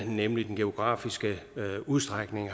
nemlig den geografiske udstrækning